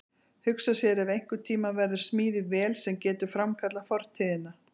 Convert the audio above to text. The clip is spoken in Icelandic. Hugsa sér ef einhvern tíma verður smíðuð vél sem getur framkallað fortíðina.